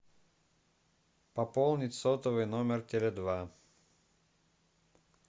пополнить сотовый номер теле два